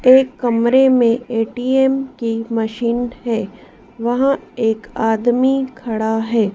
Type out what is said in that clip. एक कमरे में ए_टी_एम की मशीन हैं। वहां एक आदमी खड़ा है।